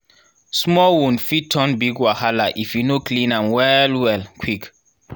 small wound fit turn big wahala if you no clean am well well quick